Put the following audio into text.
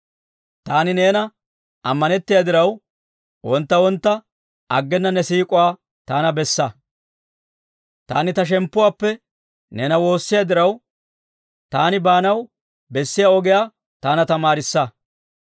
Taani neena ammanettiyaa diraw, wontta wontta aggena ne siik'uwaa taana bessa. Taani ta shemppuwaappe neena woossiyaa diraw, taani baanaw bessiyaa ogiyaa taana tamaarissa.